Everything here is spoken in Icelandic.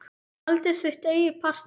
Halda sitt eigið partí.